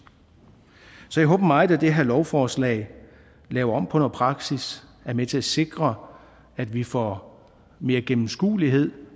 så jeg håber meget at det her lovforslag laver om på noget praksis og er med til at sikre at vi får mere gennemskuelighed